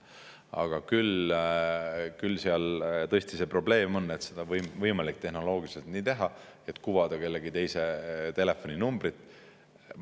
Aga seal tõesti see probleem on, et on võimalik tehnoloogiliselt nii teha, et kuvada kellegi teise telefoninumbrit.